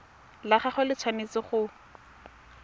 la gagwe le tshwanetse go